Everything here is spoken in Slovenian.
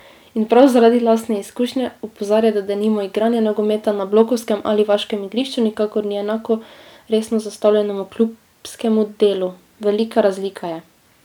In prav zaradi lastne izkušnje opozarja, da denimo igranje nogometa na blokovskem ali vaškem igrišču nikakor ni enako resno zastavljenemu klubskemu delu: 'Velika razlika je!